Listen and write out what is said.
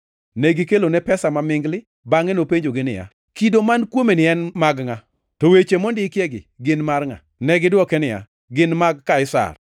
Negikelone pesa mamingli, bangʼe nopenjogi niya, “Kido man kuomeni en mag ngʼa? To weche mondikiegi to gin mar ngʼa?” Negidwoke niya, “Gin mag Kaisar.”